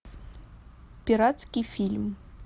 пиратский фильм